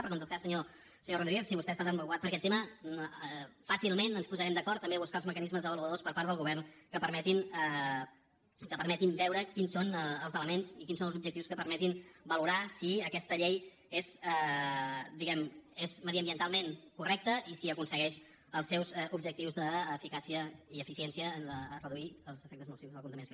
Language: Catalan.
però que en tot cas senyor rodríguez si vostè està tan preocupat per aquest tema fàcilment ens posarem d’acord també a buscar els mecanismes avaluadors per part del govern que permetin veure quins són els elements i quins són els objectius que permetin valorar si aquesta llei és mediambientalment correcta i si aconsegueix els seus objectius d’eficàcia i eficiència de reduir els efectes nocius de la contaminació